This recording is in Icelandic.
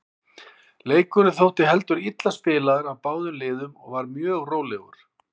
Leikurinn þótti heldur illa spilaður af báðum liðum og var mjög rólegur.